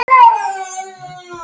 Ég er ófrísk!